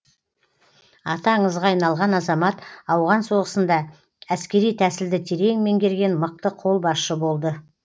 аты аңызға айналған азамат ауған соғысында әскери тәсілді терең меңгерген мықты қолбасшы болды